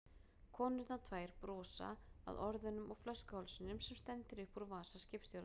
Konurnar tvær brosa, að orðunum og flöskuhálsinum sem stendur upp úr vasa skipstjórans.